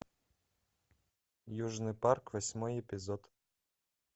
южный парк восьмой эпизод